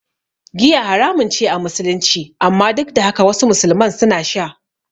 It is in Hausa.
Giya haramun ce a Musulunci, amma duk da haka wasu musulman suna sha.